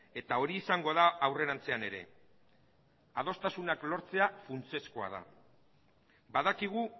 eta hori izango da aurrerantzean ere adostasunak lortzea funtsezkoa da badakigu